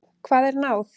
Hvað er náð?